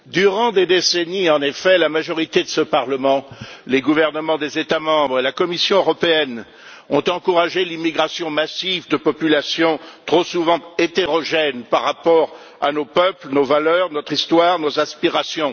Monsieur le Président, durant des décennies, en effet, la majorité de ce Parlement, les gouvernements des États membres et la Commission européenne ont encouragé l'immigration massive de populations trop souvent hétérogènes par rapport à nos peuples, nos valeurs, notre histoire, nos aspirations.